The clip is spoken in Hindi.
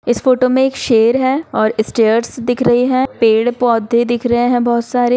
इस फोटो में एक शेर है और स्टैर्स दिख रही है पेड़-पौधे दिख रहे है बहुत सारे।